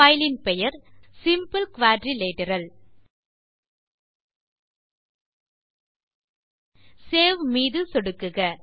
கோப்பின் பெயர் எளிய நாற்கரம் சேவ் மீது சொடுக்குக